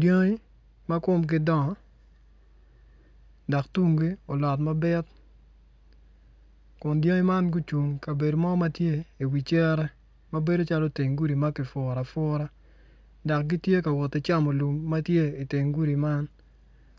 Dyangi ma komgi dongo dok tunggi olot mabit kun dyangi man gucung ikabedo ma tye iwi cere ma bedo calo teng gudi ma kipuro apura dok gittye ka wot ki camo lum ma tye iteng gudi man